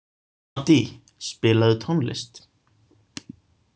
Addý, spilaðu tónlist.